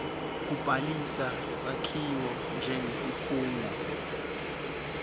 kubhalisa sakhiwo njengesikhungo